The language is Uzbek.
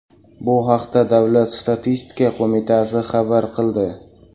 Bu haqda Davlat statistika qo‘mitasi xabar qildi .